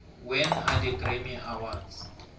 when are the grammy awards